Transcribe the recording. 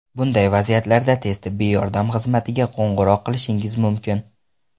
Bunday vaziyatlarda tez tibbiy yordam xizmatiga qo‘ng‘iroq qilishingiz mumkin.